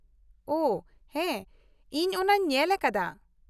ᱳᱦᱚ ᱦᱮᱸ ᱤᱧ ᱚᱱᱟᱹᱧ ᱧᱮᱞ ᱟᱠᱟᱫᱟ ᱾